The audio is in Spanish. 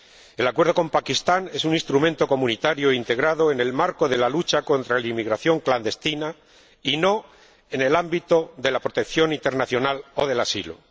El acuerdo con Pakistán es un instrumento comunitario integrado en el marco de la lucha contra la inmigración clandestina y no en el ámbito de la protección internacional o del asilo.